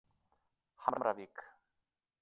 Hamravík